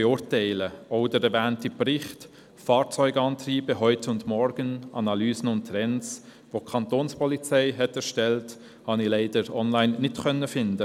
Auch liess sich der erwähnte Bericht «Fahrzeugantriebe Heute und Morgen – Analyse und Trends», den die Kantonspolizei erstellt hat, leider online nicht finden.